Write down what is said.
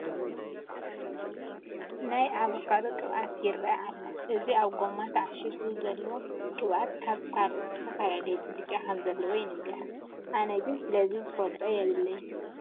ናይ ኣቮካዶ ቅብኣት ይርአ ኣሎ፡፡ እዚ ኣብ ጐማ ተዓሺጉ ዝኔሀ ቅብኣት ካብ ካልኦት ዝተፈለየ ብልጫ ከምዘለዎ ይንገር፡፡ ኣነ ግን ስለዚ ዝፈልጦ የብለይን፡፡